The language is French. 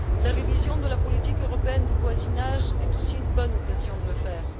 La révision de la politique européenne de voisinage est aussi une bonne occasion de le faire.